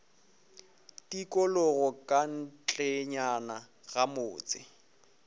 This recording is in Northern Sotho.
tikologo ka ntlenyana ga motse